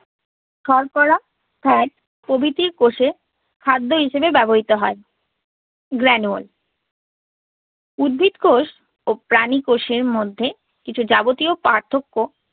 শর্করা, fat প্রভৃতি কোষে খাদ্য হিসেবে ব্যবহৃত হয় granule উদ্ভিদ কোষ ও প্রাণী কোষের মধ্যে কিছু যাবতীয় পার্থক্য